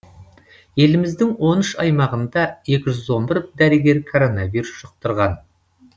еліміздің он үш аймағында екі жүз он бір дәрігер коронавирус жұқтырған